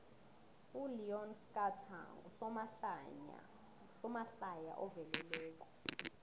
uleon schuster ngusomahlaya oveleleko